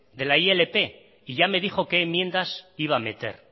de la ilp y ya me dijo qué enmiendas iba a meter